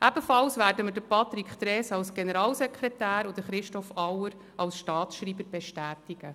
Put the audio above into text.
Ebenfalls werden wir Patrick Trees als Generalsekretär und Christoph Auer als Staatsschreiber bestätigen.